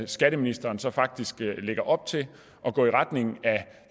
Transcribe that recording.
skatteministeren så faktisk lægger op til at gå i retning af